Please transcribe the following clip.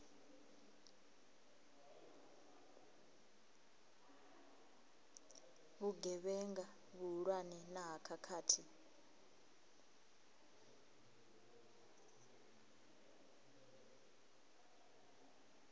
vhugevhenga vhuhulwane na ha khakhathi